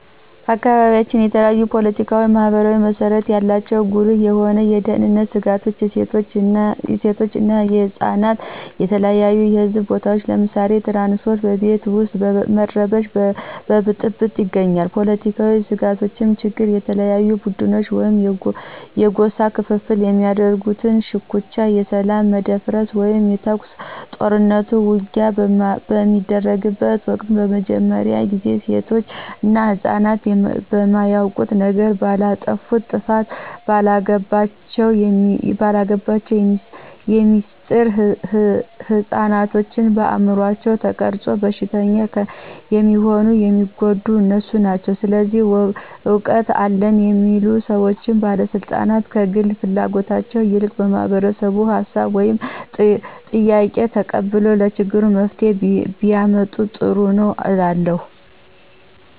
በአካባቢያችን የተለያዩ ፓለቲካዊና ባህላዊ መስረታው ያላቸው ጉልህ የሆኑ የደህንነት ስጋቶች የሴቶች እና የህፃናት በተለያዩ የህዝብ ቦታዎች ለምሳሌ ትራንስፓርት፣ በቤት ውስጥ በረበሽ በብጥብጥ ይገኛሉ። ፖለትካዊ ስጋቶች ችግሮች በተለያዩ ቡድኖች ወይም የጎሳ ክፍፍል በሚያደርጉት ሽኩቻ የሰላም መደፍረስ ወይም ተኩስ፣ ጦርኑት፣ ውጊያ በሚደርጉበት ወቅት በመጀመርያ ጊዜ ሴቶች እና ህፅናት በማያውቁት ነገር፣ ባላጠፉት ጥፋት፣ ባልገባቸው ሚስጥር፣ ህፅናቶችን በአምሯቸው ተቀርፆ በሽተኛ የሚሆኑት የሚጎዱት እነሱ ናቸው። ስለዚህ እውቀት አለን የሚሉ ሰዎች ባለስልጣናት ከግል ፍላጎታቸው ይልቅ የማህበረሰቡን ሀሳብ ወይም ጥያቄ ተቀብለው ለችግሩ መፍትሄ ቢያመጡ ጥሩ ነው እላለሁ።